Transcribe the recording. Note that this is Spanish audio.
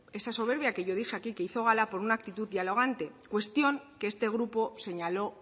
esa soberbia que yo dije aquí hizo gala por una actitud dialogante cuestión que este grupo señaló